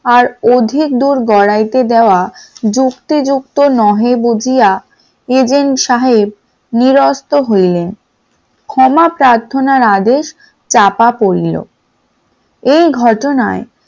আর অধিক দূর গড়াইতে দেয়া যুক্তিযুক্ত নহে বুঝিয়া agent সাহেব নিরস্ত হইলেন, ক্ষমা প্রার্থনার আদেশ চাঁপা পড়িল এই ঘটনায়